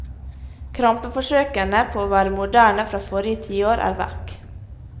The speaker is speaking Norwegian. Krampeforsøkene på å være moderne fra forrige tiår er vekk.